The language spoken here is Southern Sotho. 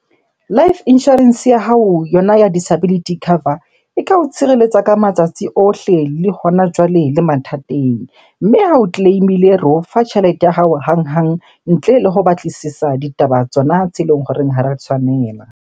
Life Insurance ya hao, yona ya Disability Cover e ka o tshireletsa ka matsatsi ohle, le hona jwale, le mathateng. Mme ha o claim-ile, re o fa tjhelete ya hao hanghang ntle le ho batlisisa ditaba tsona tse leng horeng ha ra tshwanela.